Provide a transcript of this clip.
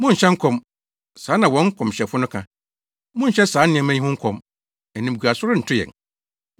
“Monnhyɛ nkɔm,” saa na wɔn nkɔmhyɛfo no ka. “Monnhyɛ saa nneɛma yi ho nkɔm; animguase rento yɛn.”